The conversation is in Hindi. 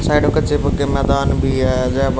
साइड के मैदान भी है।